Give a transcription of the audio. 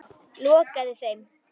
Lokaði þeim.